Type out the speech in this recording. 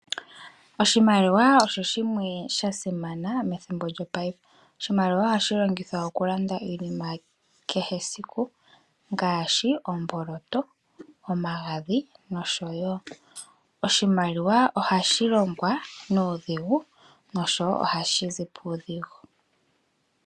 Oshimaliwa osho shimwe shasimana methimbo lyopaife, oshimaliwa ohashi longithwa okulanda iinima yakehe esiku ngaashi omboloto, omagadhi nosho wo . Oshimaliwa ohashi longwa nuudhigu nosho wo ohashizi puudhigu.